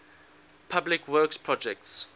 public works projects